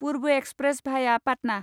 पुर्व एक्सप्रेस भाया पाटना